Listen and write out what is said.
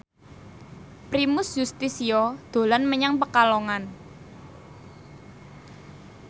Primus Yustisio dolan menyang Pekalongan